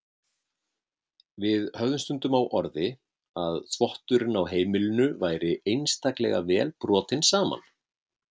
Við höfðum stundum á orði að þvotturinn á heimilinu væri einstaklega vel brotinn saman.